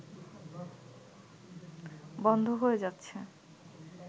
বন্ধ হয়ে যাচ্ছে